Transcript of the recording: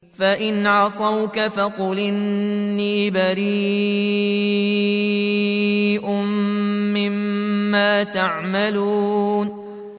فَإِنْ عَصَوْكَ فَقُلْ إِنِّي بَرِيءٌ مِّمَّا تَعْمَلُونَ